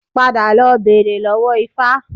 Padà lọ bèrè lọ́wó Ifa